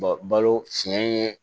Balo fiɲɛ ye